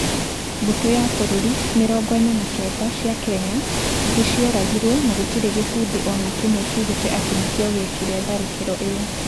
Mbũtũ ya bũrũri mirongo ina na kenda cia Kenya nĩ cioragirwo na gũtirĩ gĩkundi o na kĩmwe kĩugĩte atĩ nĩkĩo gĩekire tharĩkĩro ĩyo.